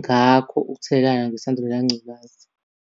ngakho ukuthelelana nesandulela ngculaza.